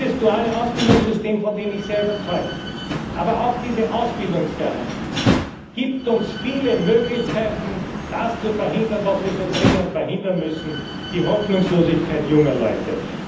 Dieses duale Ausbildungssystem, von dem ich sehr überzeugt bin, aber auch diese Ausbildungsgarantie, geben uns viele Möglichkeiten, das zu verhindern, was wir so dringend verhindern müssen die Hoffnungslosigkeit junger Leute.